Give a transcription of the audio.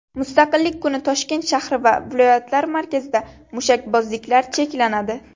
Mustaqillik kuni Toshkent shahri va viloyatlar markazida mushakbozliklar cheklanadi.